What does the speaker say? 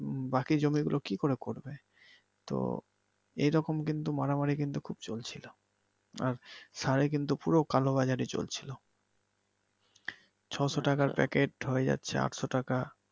বাকি জমি গুলো কি করে করবে তো এইরকম কিন্তু মারামারি কিন্তু খুব চলছিলো আর সারে কিন্তু পুরো কালোবাজারি চলছিলো। ছয়শো টাকার প্যাকেট হয়ে যাচ্ছে আটশো টাকা।